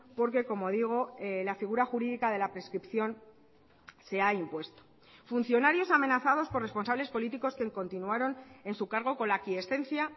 porque como digo la figura jurídica de la prescripción se ha impuesto funcionarios amenazados por responsables políticos que continuaron en su cargo con la aquiescencia